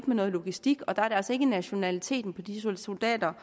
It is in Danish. med noget logistik og der er det altså ikke nationaliteten på de soldater